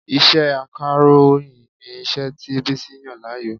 Iṣẹ́ Akàròyìn ni iṣẹ́ tí Bísí yàn láàyò